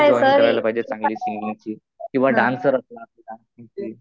Classes join करायला पाहिजे चांगले सिंगिंगचे किंवा डान्सर असला तर डान्सिंगचे.